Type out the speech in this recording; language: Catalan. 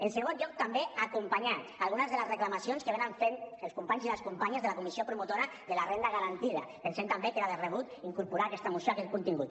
en segon lloc també acompanyar algunes de les reclamacions que fan els companys i les companyes de la comissió promotora de la renda garantida pensem també que era de rebut incorporar a aquesta moció aquest contingut